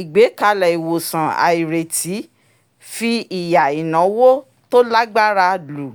ìgbékalẹ̀ ìwòsàn àìrètí fi ìyà ináwó tó lágbára lù